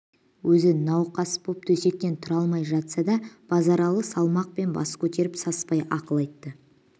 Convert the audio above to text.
өзі науқас боп төсектен тұра алмай жатса да базаралы салмақпен бас көтеріп саспай ақыл айтты